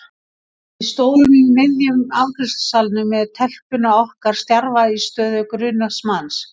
Við stóðum í miðjum afgreiðslusalnum með telpuna okkar stjarfa í stöðu grunaðs manns.